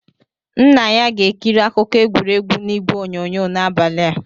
Nna ya ga-ekiri akụkọ egwuregwu na ịgwe onyonyo n'abalị a.